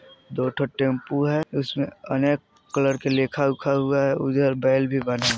दोठो टेंपू है उसमें अनेक कलर के लिखा उखा हुआ है उधर बैल भी बना --